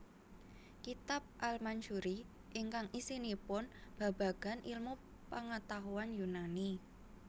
Kitab al Mansuri ingkang isinipun babagan ilmu pangatahuan Yunani